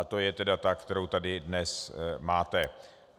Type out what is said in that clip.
A to je tedy ta, kterou tady dnes máte.